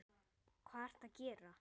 Jón: Hvað ertu að gera?